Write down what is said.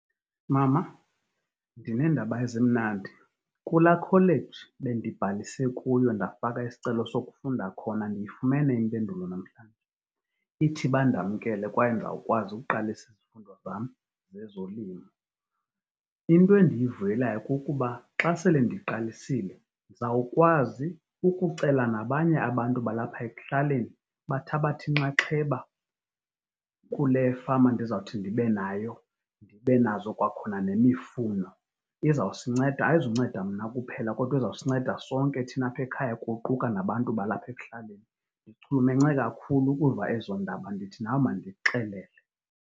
Mama, ndineendaba ezimnandi. Kula kholeji bendibhalise kuyo ndafaka isicelo sokufunda khona, ndiyifumene impendulo namhlanje. Ithi bandamkele kwaye ndizawukwazi ukuqalisa izifundo zam zezolimo. Into endiyivuyelayo kukuba xa sele ndiqalisile ndizawukwazi ukucela nabanye abantu balapha ekuhlaleni bathabathe inxaxheba kule fama endizawuthi ndibe nayo, ndibe nazo kwakhona nemifuno. Izawusinceda. Ayizunceda mna kuphela kodwa izawusinceda sonke thina apha ekhaya kuquka nabantu balapha ekuhlaleni. Ndichulumence kakhulu ukuva ezo ndaba, ndithi nawe mandikuxelele.